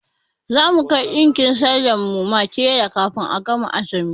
Za mu kai ɗinkin sallan mu ma tela kafin a gama azumi.